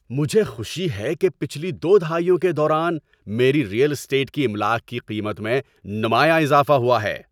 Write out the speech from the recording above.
مجھے خوشی ہے کہ پچھلی دو دہائیوں کے دوران میری ریئل اسٹیٹ کی املاک کی قیمت میں نمایاں اضافہ ہوا ہے۔